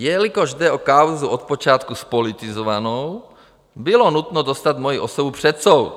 Jelikož jde o kauzu od počátku zpolitizovanou, bylo nutno dostat moji osobu před soud.